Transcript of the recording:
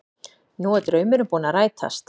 Nú er draumurinn búinn að rætast